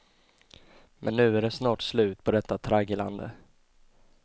Men nu är det snart slut på detta tragglande.